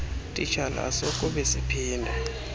titshala asokube siphinde